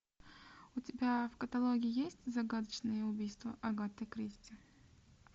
у тебя в каталоге есть загадочные убийства агаты кристи